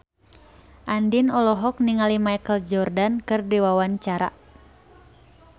Andien olohok ningali Michael Jordan keur diwawancara